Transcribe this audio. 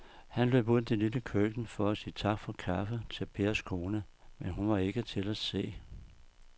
Han løb ud i det lille køkken for at sige tak for kaffe til Pers kone, men hun var ikke til at se.